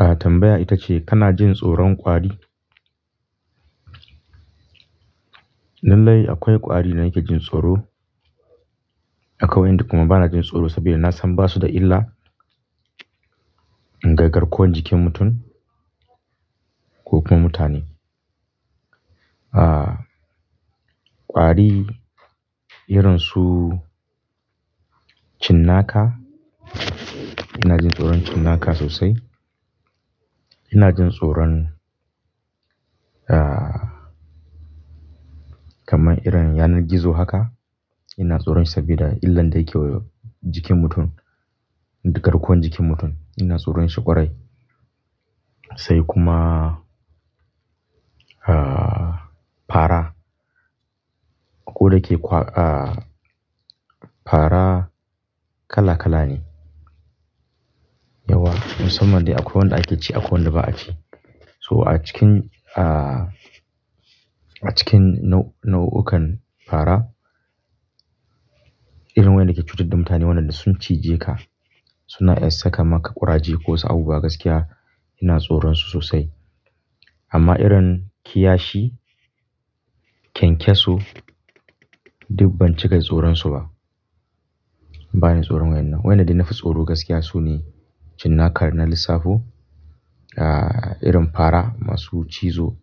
A'a tambaya ita ce kana jin tsoron kwari? Lallai akwai kwari da nake jin tsoro. Akwai waɗanda kuma bana jin tsoro saboda na san ba su da illa ga garkuwan jikin mutum ko kuma mutane. A'a kwari irin su cinnaka, ina jin tsoron cinnaka sosai. Ina jin tsoron, aah kamar irin yanar gizo haka ina tsoron shi saboda illan da yake wa jikin mutum da garkuwan jikin mutum. Ina tsoron shi ƙwarai. Sai kuma aah fara. Ko da ke kwa aah fara kala kala ne. Yawa musamman da akwai wanda ake ci akwai wanda ba a ci. So a cikin aah a cikin nau'ukan fara irin wanda ke cutar da mutane waɗanda sun cije ka suna iya saka maka ƙuraje ko wasu abubuwa gaskiya ina tsoron su sosai. Amma irin kiyashi, kyankyaso, duk ban cika tsoron su ba. Ba ni tsoron wannan. Waɗanda na fi tsoro gaskiya sune cinnaka da ns lissafo. Aah irin fara masu cizo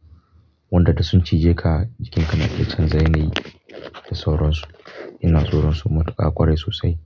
waɗanda da sun cije ka jikinka na ke canza yanayi da sauransu. Ina tsoron su matuƙa ƙwarai sosai.